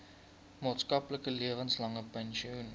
maandelikse lewenslange pensioen